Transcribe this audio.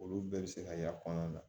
Olu bɛɛ bɛ se ka y'a kɔnɔna na